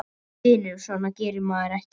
Vinur, svona gerir maður ekki!